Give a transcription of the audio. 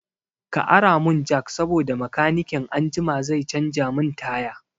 Ka ara mun jak saboda makanikin anjima zai canza min taya